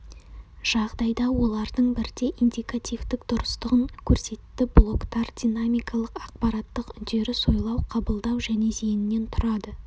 жағдайда олардың бірдей индикативтік дұрыстығын көрсетті блоктар динамикалық-ақпараттық үдеріс ойлау қабылдау және зейіннен тұрады